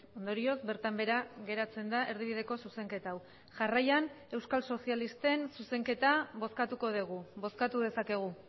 ondorioz bertan behera geratzen da erdibideko zuzenketa hau jarraian euskal sozialisten zuzenketa bozkatuko dugu bozkatu dezakegu